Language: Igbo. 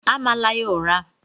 Amala ya ụra!